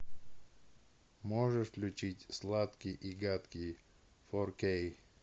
можешь включить сладкий и гадкий фор кей